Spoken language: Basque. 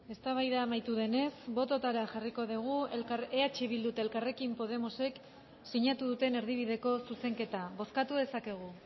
eztabaida amaitu denez bototara jarriko dugu eh bildu eta elkarrekin podemosek sinatu duten erdibideko zuzenketa bozkatu dezakegu